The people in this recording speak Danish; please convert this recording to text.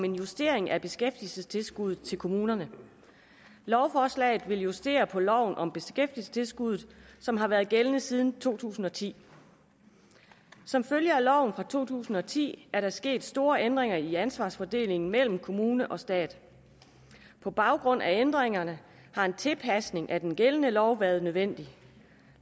en justering af beskæftigelsestilskuddet til kommunerne lovforslaget vil justere på loven om beskæftigelsestilskuddet som har været gældende siden to tusind og ti som følge af loven fra to tusind og ti er der sket store ændringer i ansvarsfordelingen mellem kommune og stat på baggrund af ændringerne har en tilpasning af den gældende lov været nødvendig